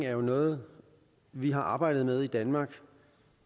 er noget vi har arbejdet med i danmark